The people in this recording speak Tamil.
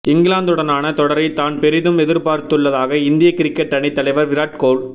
இங்கிலாந்துடனான தொடரை தான் பெரிதும் எதிர்ப்பார்த்துள்ளதாக இந்திய கிரிக்கெட் அணித் தலைவர் விராட் கோஹ்